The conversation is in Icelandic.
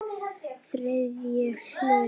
Þriðji hluti